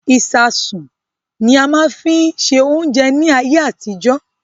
Ìsáásùn ni a fi máa ń ṣe oúnjẹ ní ayé àtijó.